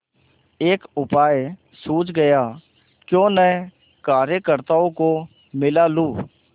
एक उपाय सूझ गयाक्यों न कार्यकर्त्ताओं को मिला लूँ